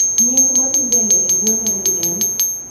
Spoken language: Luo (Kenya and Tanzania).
Nying gimadhii mbele e gwen'a ni en?